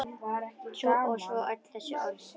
Og svo öll þessi orð.